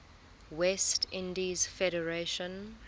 west indies federation